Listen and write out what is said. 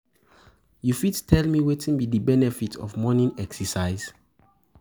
you fit tell me wetin be di benefit of morning exercise?